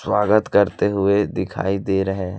स्वागत करते हुए दिखाई दे रहे है।